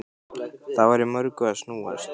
Það var í mörgu að snúast.